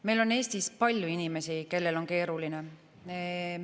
Meil on Eestis palju inimesi, kellel on keeruline.